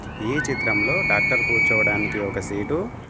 ఈ చిత్రంలో డాక్టర్ కూర్చోవడానికి ఒక సీటు --